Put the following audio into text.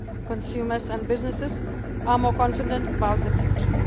are stabilising consumers and businesses are more confident